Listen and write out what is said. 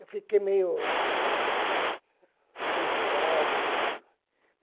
Eu fiquei meio tontoado, tudo.